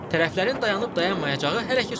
Tərəflərin dayanıb-dayanmayacağı hələ ki sualdır.